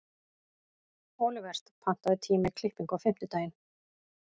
Olivert, pantaðu tíma í klippingu á fimmtudaginn.